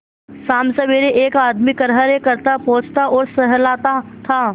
शामसबेरे एक आदमी खरहरे करता पोंछता और सहलाता था